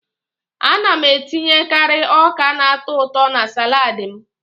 Ana m etinyekari ọka na-atọ ụtọ na salaadi m.